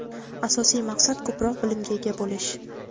Asosiy maqsad ko‘proq bilimga ega bo‘lish.